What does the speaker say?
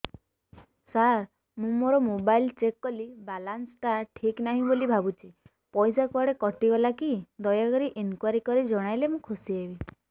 ସାର ମୁଁ ମୋର mobile check କଲି ବାଲାନ୍ସ ଟା ଠିକ ନାହିଁ ବୋଲି ଭାବୁଛି ପଇସା କୁଆଡେ କଟି ଗଲା କି ଦୟାକରି ଇନକ୍ୱାରି କରି ଜଣାଇଲେ ମୁଁ ଖୁସି ହେବି